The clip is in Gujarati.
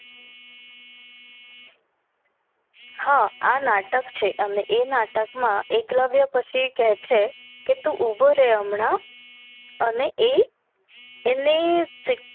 હા એ નાટક છે અને એ નાટક મા એકલવ્ય પછી કે છ કે ઊભો રે હમણાં અને એ એને